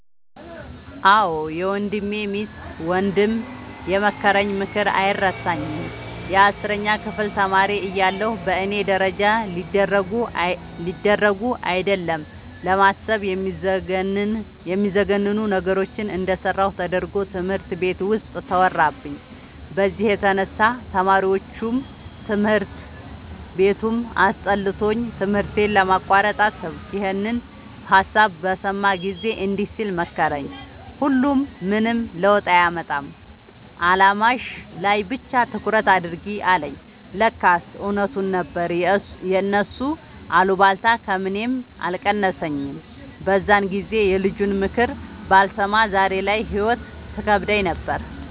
አዎ የወንድሜ ሚስት ወንድም የመከረኝ ምክር አይረሳኝም። የአስረኛ ክፍል ተማሪ እያለሁ በእኔ ደረጃ ሊደረጉ አይደለም ለማሰብ የሚዘገንኑ ነገሮችን እንደሰራሁ ተደርጎ ትምህርት ቤት ውስጥ ተወራብኝ። በዚህ የተነሳ ተማሪዎቹም ትምህርት ቤቱም አስጠልቶኝ ትምህርቴን ለማቋረጥ አሰብኩ። ይኸንን ሀሳብ በሰማ ጊዜ እንዲህ ሲል መከረኝ "ሁሉም ምንም ለውጥ አያመጣም አላማሽ ላይ ብቻ ትኩረት አድርጊ" አለኝ። ለካስ እውነቱን ነበር የእነሱ አሉባልታ ከምኔም አልቀነሰኝም። በዛን ጊዜ የልጁንምክር ባልሰማ ዛሬ ላይ ህይወት ትከብደኝ ነበር።